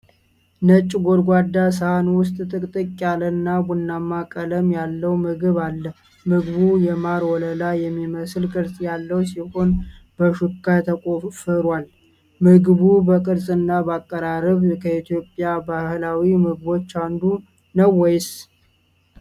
ነጭ ጎድጓዳ ሳህን ውስጥ ጥቅጥቅ ያለና ቡናማ ቀለም ያለው ምግብ አለ። ምግቡ የማር ወለላ የሚመስል ቅርጽ ያለው ሲሆን በሹካ ተቆፍሯል። ምግቡ በቅርጽና በአቀራረብ ከኢትዮጵያ ባህላዊ ምግቦች አንዱ ነው ወይስ?